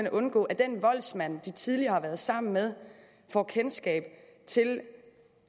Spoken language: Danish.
at undgå at den voldsmand de tidligere har været sammen med får kendskab til